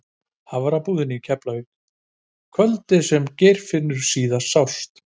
Hafnarbúðina í Keflavík kvöldið sem Geirfinnur sást síðast.